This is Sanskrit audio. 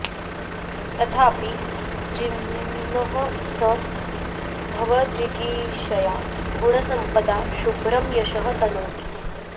तथापि जिह्मः सः भवजिगीषया गुणसम्पदा शुभ्रं यशः तनोति